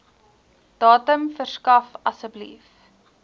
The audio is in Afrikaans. datum verskaf asseblief